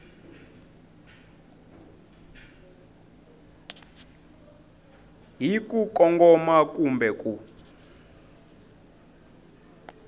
hi ku kongoma kumbe ku